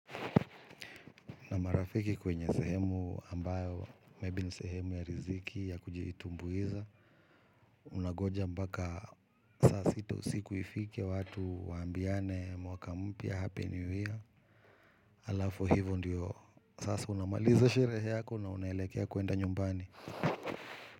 Na marafiki kwenye sehemu ambayo, maybe ni sehemu ya riziki ya kujiitumbuiza. Unangoja mpaka sasa sita usiku ifike watu waambiane mwaka mpya hapi new year. Alafu hivyo ndiyo. Sasa unamaliza sherehe yako na unaelekea kuwenda nyumbani.